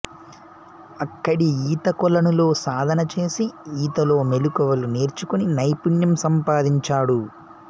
అక్కడి ఈత కొలనులో సాధన చేసి ఈతలో మెళకువలు నేర్చుకుని నైపుణ్యం సంపాదించాడు